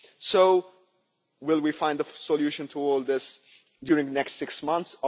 So, will we find a solution to all this in the next six months?